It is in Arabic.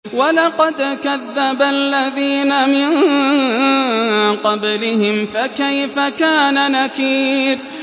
وَلَقَدْ كَذَّبَ الَّذِينَ مِن قَبْلِهِمْ فَكَيْفَ كَانَ نَكِيرِ